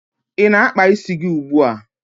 Ị na-akpa isi gi ugbua?